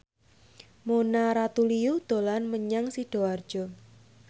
Mona Ratuliu dolan menyang Sidoarjo